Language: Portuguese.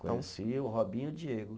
Conheci o Robinho e o Diego.